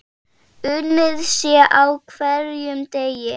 Unnið sé á hverjum degi.